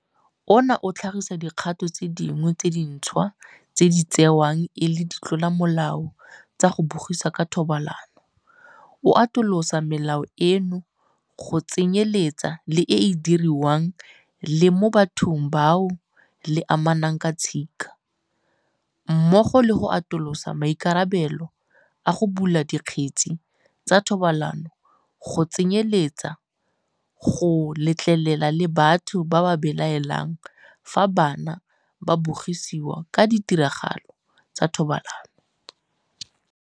Ona o tlhagisa dikgato tse dingwe tse dintšhwa tse di tsewang e le ditlolomolao tsa go bogisa ka thobalano, o atolosa melato eno go tsenyeletsa le e e diriwang le mo bathong bao le amanang ka tshika, mmogo le go atolosa maikarabelo a go bula dikgetse tsa thobalano go tsenyeletsa go letlelela le batho ba ba belaelang fa bana ba bogisiwa ka ditiragalo tsa thobalano.